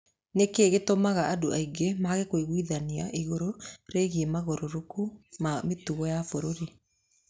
Nĩ kĩĩ gĩtũmaga andũ aingĩ mage kũiguithania igũrũ rĩgiĩ mogarũrũku ma mĩtugo ya bũrũri?